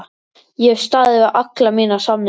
Ég hef staðið við alla mína samninga.